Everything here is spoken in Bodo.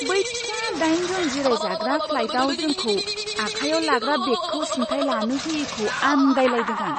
बै फिसा दाइन जन जिरायजाग्रा फ्लाइटयाव जोंखौ आखायाव लाग्रा बेगखौ सिनथाय लानो होयैखौ आन्दायलायदों आं।